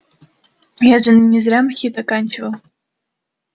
я же не зря мхит оканчивал